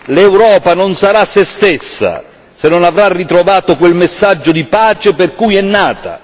L'Europa non sarà se stessa se non avrà ritrovato quel messaggio di pace per cui è nata.